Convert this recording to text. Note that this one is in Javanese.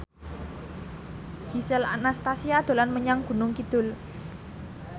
Gisel Anastasia dolan menyang Gunung Kidul